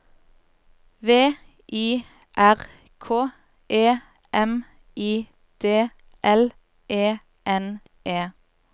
V I R K E M I D L E N E